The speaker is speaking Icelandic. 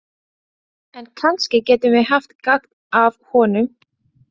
En kannski getum við haft gagn af honum.